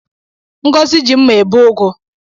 Ngọzi ji mma ebe ugu